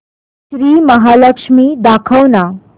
श्री महालक्ष्मी दाखव ना